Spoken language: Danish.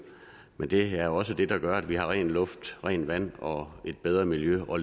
men det er også det der gør at vi har ren luft rent vand og et bedre miljø og